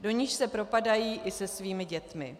do níž se propadají i se svými dětmi.